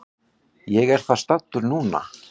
Ég er þar staddur núna.